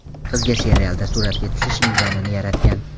Qizga serialda suratga tushish imkonini yaratgan.